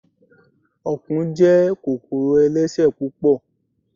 Ọ̀kùn jẹ́ kòkòrò ẹlẹ́sẹ̀ púpọ̀